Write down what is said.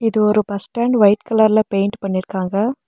இது ஒரு bus stand white கலர்ல பெயிண்ட் பண்ணிருக்காங்க.